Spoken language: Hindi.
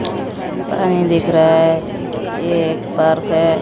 पानी दिख रहा है ये एक पार्क है।